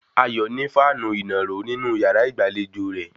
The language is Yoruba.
Ayọ̀ ní fáànù ìnàró nínú yàrá ìgbàlejò rẹ̀